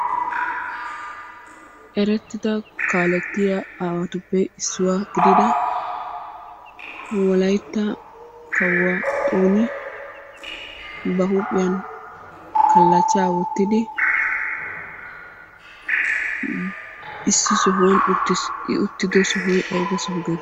Erettida kaalettiya aawatuppe issuwa gidida wolayitta kawuwa xooni ba huuphphiyan kallachchaa wottidi issi sohuwan uttis. I uttido sohoy ayiba Soho geetettii?